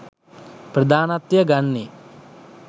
ප්‍රධානත්වය ගන්නේ